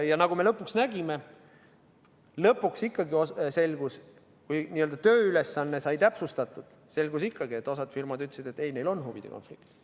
Ja nagu me lõpuks nägime, kui n-ö tööülesanne sai täpsustatud, selgus ikkagi, et osa firmasid ütles, et neil on huvide konflikt.